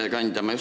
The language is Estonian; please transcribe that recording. Hea ettekandja!